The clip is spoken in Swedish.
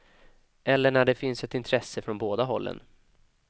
Eller när det finns ett intresse från båda hållen.